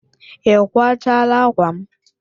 Ị kwachala ákwà m?